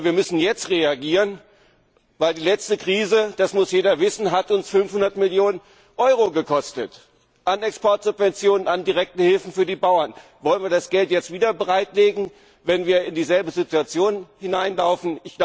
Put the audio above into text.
Wir müssen jetzt reagieren, denn die letzte Krise das muss jeder wissen hat uns 500 Millionen Euro an Exportsubventionen und an direkten Hilfen für die Bauern gekostet. Wollen wir das Geld jetzt wieder bereitlegen, wenn wir in dieselbe Situation hineinlaufen?